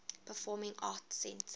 performing arts center